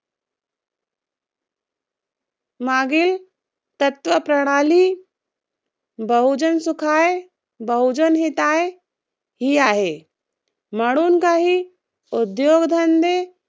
मागील तत्व प्रणाली. बहुजन सुखाये, बहुजन हिताये ही आहे. म्हणून काही उद्योगधंदे